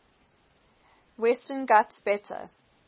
western ghats better